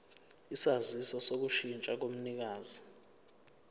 isaziso sokushintsha komnikazi